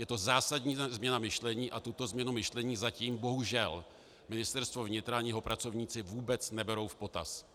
Je to zásadní změna myšlení a tuto změnu myšlení zatím bohužel Ministerstvo vnitra ani jeho pracovníci vůbec neberou v potaz.